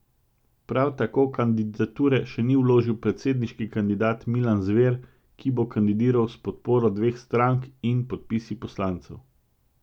Prav tako kandidature še ni vložil predsedniški kandidat Milan Zver, ki bo kandidiral s podporo dveh strank in podpisi poslancev.